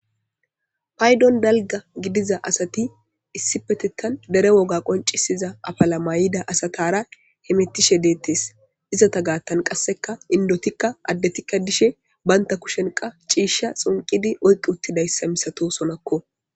paydon dalga gidiza asati issi petettan dere woga qoncisiza apalamayida asatara hemittishe deettes izata gaattan qasseka indotikka addetikka dishe baynta kushenqa ciishsha xunqidi oyqqi uttidayssa misato sonakko